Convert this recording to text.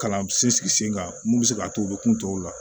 Kalan sinsin sen kan mun be se k'a to u be kun tɔw la